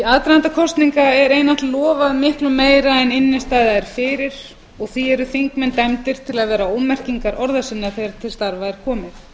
aðdraganda kosninga er yfirleitt lofað miklu meira en innstæða er fyrir og því eru þingmenn dæmdir til að vera ómerkingar orða sinna þegar til starfa er komið það hefur